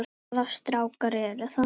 Hvaða strákar eru það?